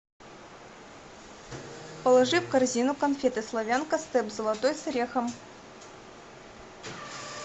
положи в корзину конфеты славянка степ золотой с орехом